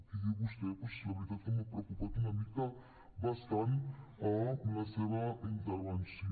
i aquí vostè doncs la veritat que m’ha preocupat una mica bastant amb la seva intervenció